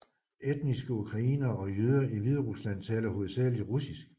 Etniske ukrainere og jøder i Hviderusland taler hovedsageligt russisk